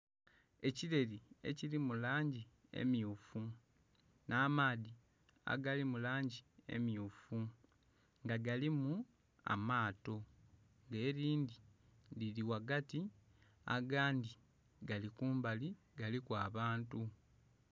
ekireli ekiri mu langi emyufu, nh'amaadhi agali mu langi emyufu nga galimu amaato nga erindhi lirimu ghagati, angadhi gali kumbali, galiku abantu.